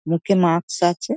মুখে মাস্ক আছে ।